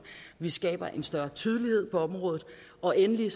vi skaber en større tydelighed på området og endelig